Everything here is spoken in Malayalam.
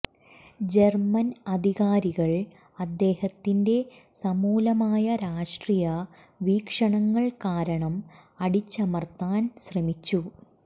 ജർമ്മൻ അധികാരികൾ അദ്ദേഹത്തിന്റെ സമൂലമായ രാഷ്ട്രീയ വീക്ഷണങ്ങൾ കാരണം അടിച്ചമർത്താൻ ശ്രമിച്ചു